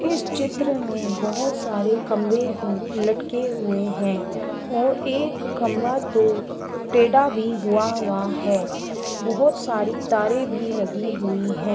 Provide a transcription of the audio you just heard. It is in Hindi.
इस चित्र में बोहोत सारे खम्भे लटके हुए है और एक खम्भा तो टेढ़ा भी हुआ- हुआ है। बोहोत सारी तारें भी लगी हुई हैं।